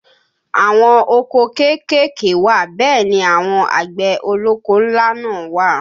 Àwọn oko kéékèèké wà bẹ́ẹ̀ ni àwọn àgbẹ̀ ọlọ́kọ́ ńlá náà wà